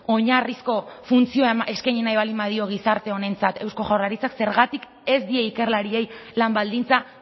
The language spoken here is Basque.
oinarrizko funtzioa eskaini nahi baldin badio gizarte honentzat eusko jaurlaritzak zergatik ez die ikerlariei lan baldintza